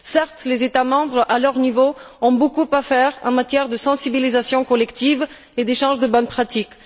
Certes, les États membres, à leur niveau, ont beaucoup à faire en matière de sensibilisation collective et d'échange de bonnes pratiques.